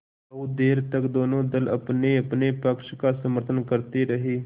बहुत देर तक दोनों दल अपनेअपने पक्ष का समर्थन करते रहे